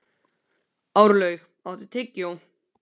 Árlaug, áttu tyggjó?